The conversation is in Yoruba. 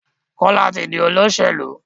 Kola tí dì Olóṣèlú.